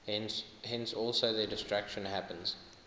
thence also their destruction happens